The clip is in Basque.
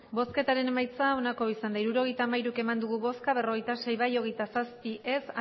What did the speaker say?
bosketaren emaitza onako izan da hirurogeita hamairu eman dugu bozka berrogeita sei bai hogeita zazpi ez